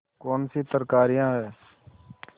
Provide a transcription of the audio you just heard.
कौनसी तरकारियॉँ हैं